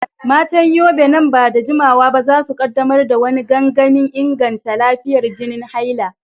Matan Yobe, nan ba da jimawa ba za su kaddamar da wani gangamin inganta lafiyar jinin haila.